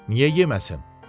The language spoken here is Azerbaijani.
Niyə yeməsin?